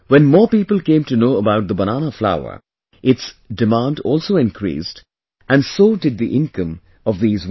When more people came to know about the banana flour, its demand also increased and so did the income of these women